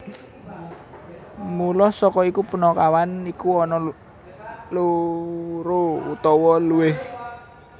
Mula saka iku punakawan iku ana loro utawa luwih